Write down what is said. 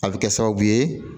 A bɛ kɛ sababu ye